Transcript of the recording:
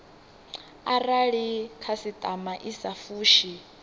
arali khasitama i sa fushi